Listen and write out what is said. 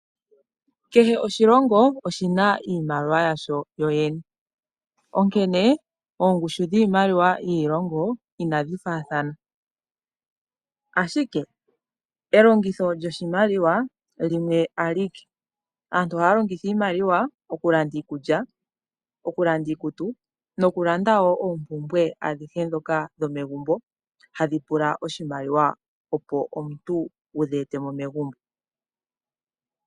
Kehe oshilongo oshi na iimaliwa yasho. Onkene oongushu dhiimaliwa dhiilongo inadhi faathana, ashike elongitho lyoshimaliwa limwe alike. Aantu ohaya longitha iimaliwa okulanda iikulya, okulanda iikutu nokulanda wo oompumbwe adhihe ndhoka dhomegumbo hadhi pula oshimaliwa, opo omuntu wu dhi ete mo megumbo.